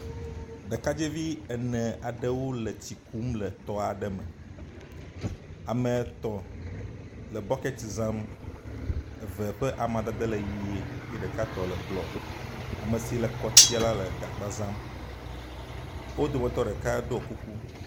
Ɖekadzevi ene aɖewo le tsi kum le tɔa aɖe me. Ame etɔ̃ le bɔket zam, eve ƒe amadede le ʋe ye ɖeka tɔ le blɔ. Ame si le … la le gagba zam. Wo dometɔ ɖeka ɖɔ kuku.